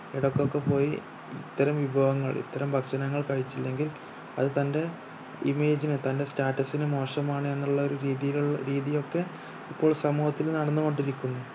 ഇടക്കൊക്കെ പോയി ഇത്തരം വിഭവങ്ങൾ ഇത്തരം ഭക്ഷണങ്ങൾ കഴിച്ചില്ലെങ്കിൽ അത് തന്റെ image നെ തന്റെ status ന് മോശമാണ് എന്നുള്ള ഒരു രീതിയിലുള്ള രീതിയൊക്കെ ഇപ്പോൾ സമൂഹത്തിൽ നടന്നു കൊണ്ടിരിക്കുന്നു